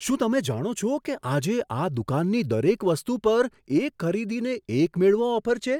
શું તમે જાણો છો કે આજે આ દુકાનની દરેક વસ્તુ પર એક ખરીદીને એક મેળવો ઓફર છે?